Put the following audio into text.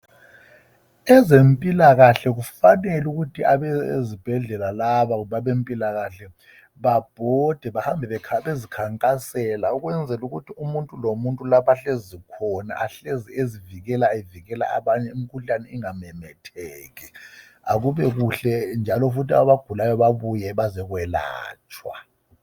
Ezempilakahle kufanele ukuthi abezibhedlela laba kumbe abempilakahle babhode behambe bekhankasela ukwenzela ukuthi umuntu lomuntu lapha ahlezi khona ahlezi ezivikela, evikela abanye emkhuhlane ungamemetheki akube kuhle ke njalo abagulayo babuye bazelatshwa